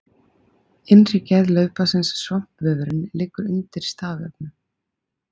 Innri gerð laufblaðs Svampvefurinn liggur undir stafvefnum.